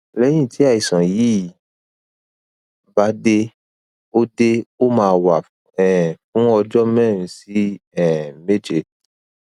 lẹyìn tí àìsàn yi bá dé ó dé ó máa wà um fún ọjọ mẹrin sí um méje